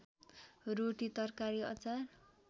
रोटी तरकारी अचार